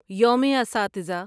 یوم اساتذہ